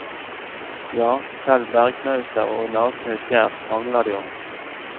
Ja, selv bergknauser og nakne skjær krangler de om.